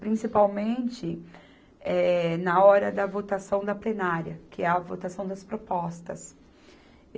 Principalmente eh, na hora da votação da plenária, que é a votação das propostas.